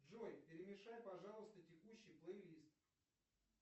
джой перемешай пожалуйста текущий плей лист